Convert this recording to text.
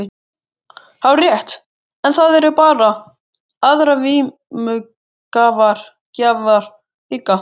Hárrétt, en það eru bara aðrir vímugjafar líka.